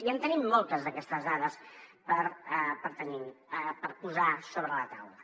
i en tenim moltes d’aquestes dades per posar sobre la taula